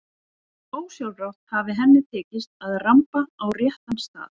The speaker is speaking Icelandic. Ósjálfrátt hafi henni tekist að ramba á réttan stað.